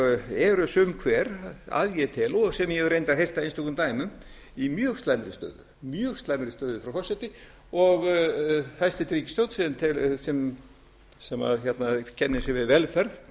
eru sum hver að ég tel og sem ég hef reyndar heyrt af einstökum dæmum í mjög slæmri stöðu frú forseti og hæstvirt ríkisstjórn sem kennir sig við velferð